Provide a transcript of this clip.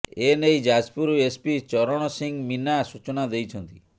ଏନେଇ ଯାଜପୁର ଏସପି ଚରଣ ସିଂ ମୀନା ସୂଚନା ଦେଇଛନ୍ତି